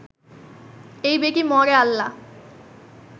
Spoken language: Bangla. এই বেটি মরে আল্লাহ